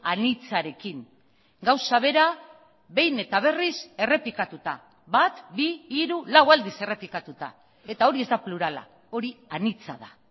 anitzarekin gauza bera behin eta berriz errepikatuta bat bi hiru lau aldiz errepikatuta eta hori ez da plurala hori anitza da